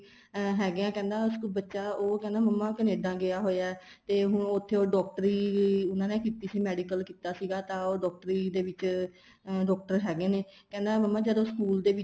ਹੈਗੇ ਆ ਕਹਿੰਦੇ ਬੱਚਾ ਉਹ ਕਹਿੰਦਾ ਮੰਮਾ Canada ਗਿਆ ਹੋਇਆ ਹੈ ਤੇ ਹੁਣ ਉੱਥੇ ਉਹ ਡਾਕਟਰੀ ਉਹਨਾ ਨੇ ਕੀਤੀ ਸੀ medical ਕੀਤਾ ਸੀਗਾ ਤਾਂ ਉਹ ਡਾਕਟਰੀ ਦੇ ਵਿੱਚ ਅਹ doctor ਹੈਗੇ ਨੇ ਕਹਿੰਦਾ ਮੰਮਾ ਜਦੋਂ school ਦੇ ਵਿੱਚ